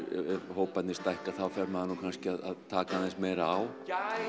hóparnir stækka þá fer maður kannski að taka aðeins meira á